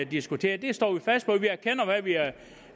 diskuterer det står vi fast på